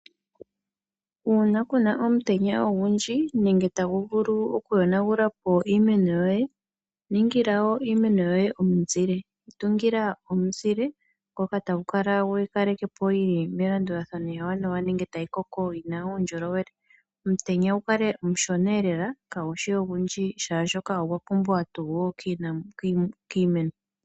Uuna Kuna omutenya ogundji nenge tagu vulu oku yonagulapo iimeno yoye, ningila iimeno yoye omuzile, tungila omuzile ngoka tagu vulu okukalekapo yili melandulathano ewaanawa nenge tayi koko yina uundjolowele, omutenya gukale omushona lela, kaguhole ogundji oshoka ogwapumbwa tuu kiimeno.